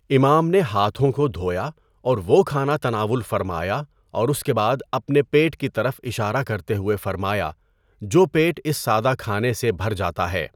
امام نے ہاتھوں کو دھویا اور وہ کھانا تناول فرمایا اور اس کے بعد اپنے پیٹ کی طرف اشارہ کرتے ہوئے فرمایا جو پیٹ اس سادہ کھانے سے بھر جاتا ہے!